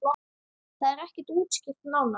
Það er ekki útskýrt nánar.